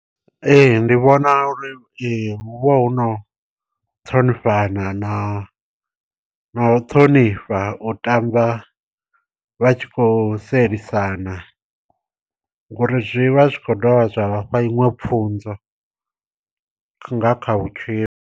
Ee ndi vhona uri hu vha hu no ṱhonifhana na na u ṱhonifha u tamba vha tshi kho sielisana, ngori zwi vha zwi kho dovha zwa vhafha iṅwe pfhunzo nga kha vhutshilo.